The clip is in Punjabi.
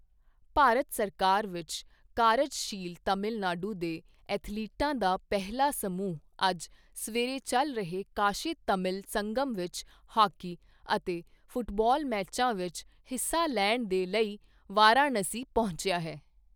ਭਾਰਤ ਸਰਕਾਰ ਵਿੱਚ ਕਾਰਜਸ਼ੀਲ ਤਮਿਲਨਾਡੂ ਦੇ ਐਥਲੀਟਾਂ ਦਾ ਪਹਿਲਾਂ ਸਮੂਹ ਅੱਜ ਸਵੇਰੇ ਚਲ ਰਹੇ ਕਾਸ਼ੀ ਤਮਿਲ ਸੰਗਮ ਵਿੱਚ ਹਾਕੀ ਅਤੇ ਫੁੱਟਬਾਲ ਮੈਚਾਂ ਵਿੱਚ ਹਿੱਸਾ ਲੈਣ ਦੇ ਲਈ ਵਾਰਾਣਸੀ ਪਹੁੰਚਿਆ ਹੈ।